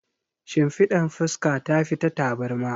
Shimfiɗar fuska tafi ta tabarma.